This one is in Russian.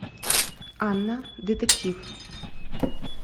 анна детектив